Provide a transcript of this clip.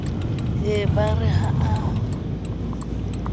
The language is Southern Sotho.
ye ba re ha a